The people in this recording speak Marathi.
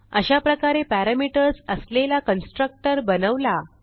अशाप्रकारे पॅरामीटर्स असलेला कन्स्ट्रक्टर बनवला